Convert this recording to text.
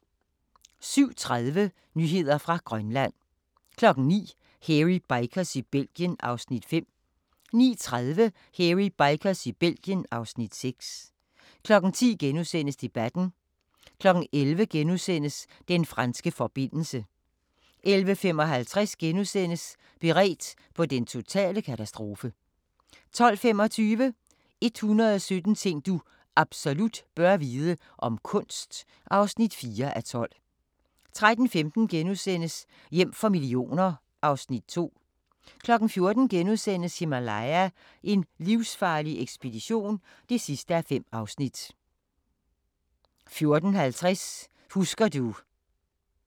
07:30: Nyheder fra Grønland 09:00: Hairy Bikers i Belgien (Afs. 5) 09:30: Hairy Bikers i Belgien (Afs. 6) 10:00: Debatten * 11:00: Den franske forbindelse * 11:55: Beredt på den totale katastrofe * 12:25: 117 ting du absolut bør vide - om kunst (4:12) 13:15: Hjem for millioner (Afs. 2)* 14:00: Himalaya: en livsfarlig ekspedition (5:5)* 14:50: Husker du ...*